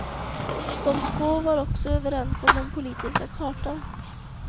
De två var också överens om den politiska kartan.